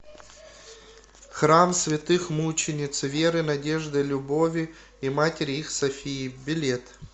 храм святых мучениц веры надежды любови и матери их софии билет